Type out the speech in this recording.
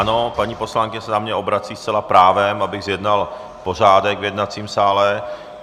Ano, paní poslankyně se na mě obrací zcela právem, abych zjednal pořádek v jednacím sále.